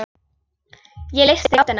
Ég leysti gátuna.